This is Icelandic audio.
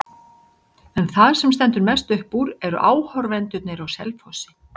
En það sem stendur mest upp úr eru áhorfendurnir á Selfossi.